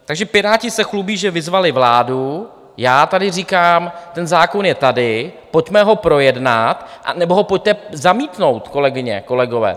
Takže Piráti se chlubí, že vyzvali vládu, já tady říkám, ten zákon je tady, pojďme ho projednat, anebo ho pojďte zamítnout, kolegyně, kolegové.